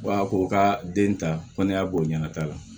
Wa ko ka den ta kɔnni y'a boɲa ta la